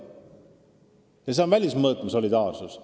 See ongi nn välismõõtme solidaarsus.